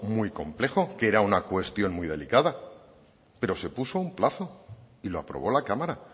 muy complejo que era una cuestión muy delicada pero se puso un plazo y lo aprobó la cámara